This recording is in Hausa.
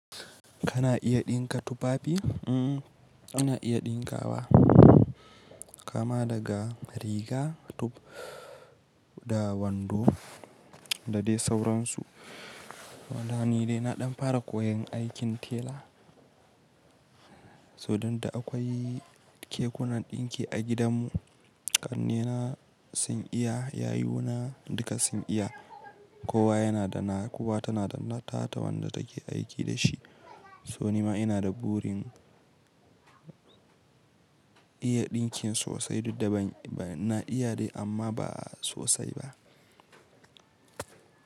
Kana iya ɗinka tufafi? Umm, ina iya ɗinkawa kama daga riga, tub da wando da dai sauransu. Wada ni dai na ɗan fara koyan aikin tela. Sodan da akwai kekunan ɗinki a gidanmu, ƙannena sun iya, yayuna duka sun iya. Kowa yana da na, kowa tana da nata ta wanda take aiki da shi. So ni ma ina da burin iya ɗinkin sosai, duk da ban ba na iya dai amma ba sosai ba.